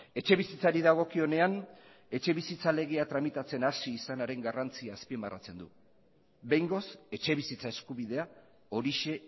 etxebizitzari dagokionean etxebizitza legea tramitatzen hasi izanaren garrantzia azpimarratzen du behingoz etxebizitza eskubidea horixe